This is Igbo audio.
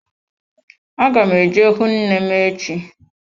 Aga m eje hụ nne m echi.